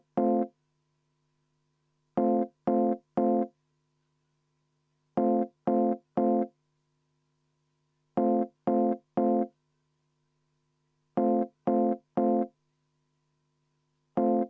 Ja samuti ei meeldi meile see protseduur, kuidas komisjonis seda muudatusettepanekut menetleti.